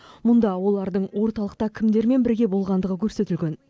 мұнда олардың орталықта кімдермен бірге болғандығы көрсетілген